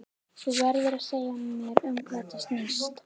Þú verður að segja mér um hvað þetta snýst.